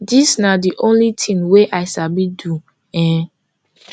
dis na di only thing wey i sabi do um